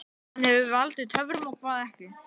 Hvað hefur valdið töfum og hvað ekki?